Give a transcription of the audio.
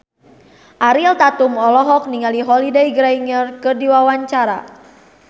Ariel Tatum olohok ningali Holliday Grainger keur diwawancara